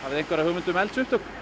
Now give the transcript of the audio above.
þið einhverja hugmynd um eldsupptök